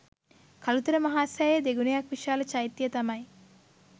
කළුතර මහා සෑයේ දෙගුණයක් විශාල චෛත්‍ය තමයි